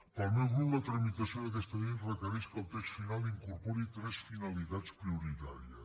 pel meu grup la tramitació d’aquesta llei requereix que el text final incorpori tres finalitats prioritàries